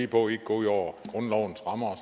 på ikke at gå ud over grundlovens rammer og